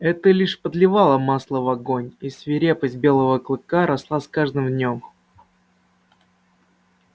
это лишь подливало масла в огонь и свирепость белого клыка росла с каждым днём